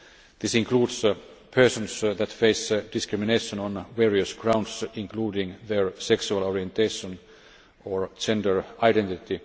This includes people who face discrimination on various grounds, including their sexual orientation or gender identity.